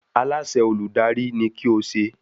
Aláṣẹ Olùdarí ni kí o se